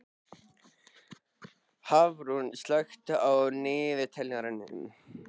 Hafrún, slökktu á niðurteljaranum.